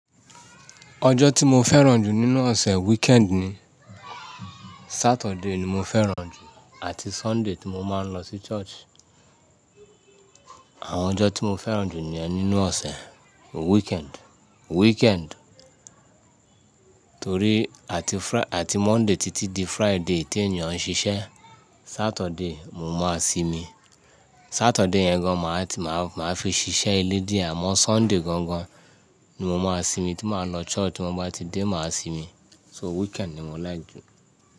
Ọjọ́ tí mo fẹ́ràn jù nínú ọ̀sẹ̀ weekend ni. Saturday ni mo fẹ́ràn jù àti Sunday tí mo máa ń lọ sí church. Àwọn ọjọ́ tí mo fẹ́ràn jù ni ẹ nínú ọ̀sẹ̀ weekend, weekend. Torí àti--fri, ati Monday títí di Friday tí ènìyàn ń ṣiṣẹ́, Saturday mo máa simi. Saturday yẹn gan màá ti máa fi ṣiṣẹ́ ilé díẹ̀ àmọ́ Sunday gangan-an ni mo máa simi tí máa lọ church tí mo bá ti dé máa simi. So weekend ni mo like ju.